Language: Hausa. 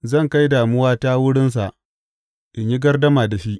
Zan kai damuwata wurinsa in yi gardama da shi.